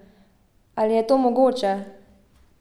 Ali je to mogoče?